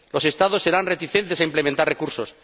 Los Estados serán reticentes a implementar recursos.